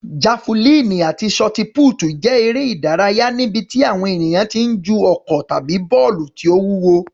Jafulíìnì àti ṣọtipútì jẹ́ eré ìdárayá níbi tí àwọn ènìyàn ti ń ju ọ̀kọ̀ tàbí bọ́ọ̀lù tó wúwo.